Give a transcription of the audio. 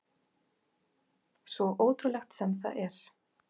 Svo ótrúlegt sem það er.